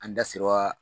An da sewa